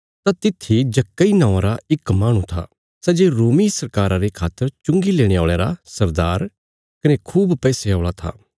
तां तित्थी जक्कई नौआं रा इक माहणु था सै जे रोमी सरकारा रे खातर चुंगी लेणे औल़यां रा सरदार कने खूब पैसे औल़ा था